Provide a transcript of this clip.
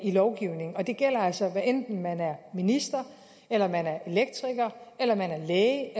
lovgivningen og det gælder altså hvad enten man er minister elektriker læge